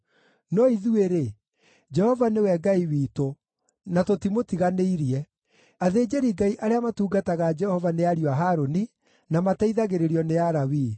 “No ithuĩ-rĩ, Jehova nĩwe Ngai witũ, na tũtimũtiganĩirie. Athĩnjĩri-Ngai arĩa matungataga Jehova nĩ ariũ a Harũni, na mateithagĩrĩrio nĩ Alawii.